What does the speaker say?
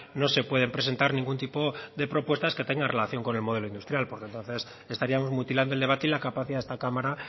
no se pueden presentar ningún tipo de propuestas que tengan relación con el modelo industrial porque entonces estaríamos mutilando el debate y la capacidad de esta cámara